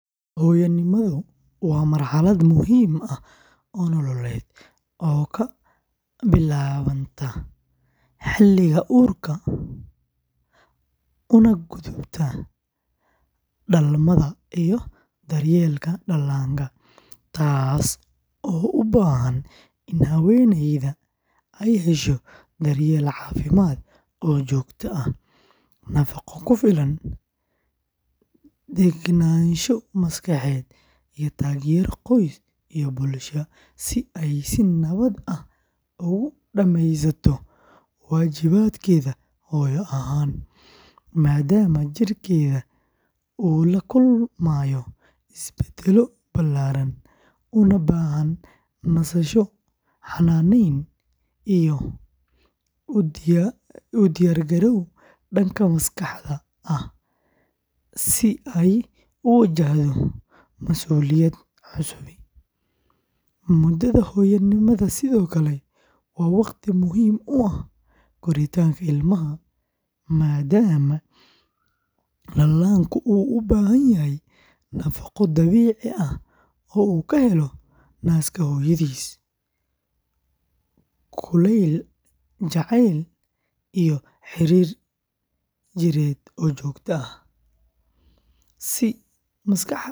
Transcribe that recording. Hoyanimadhu waa marxalaad muhiim ah oo nololeed oo kabilawataa xiliga urka una gubta xiliga dalmaada iyo daryelka dalanka tas oo u bahan in haweyneeyda ee hesho cafimaad oo jogto ah, waxa kufilan degnasho iyo tagero qoys iyo bulshaada si ee si nawaad ah ogu dameysato, wajibaadkedha hooyo ahan madama jirkedhu u lakulmayo isbadalyo gar ah una bahan nasasho xananen iyo udiyar galow danka maskaxda ah si ee u wajahdo, mudadha hoya nimaadu waa waqti muhiim u ah koritanka ilmaha madama dalanku u ubahan yahay nafaqo dabici ah oo u ka helo naska hooyadis kulel jacel iyo xirir jireed oo jogto ah si maskaxda.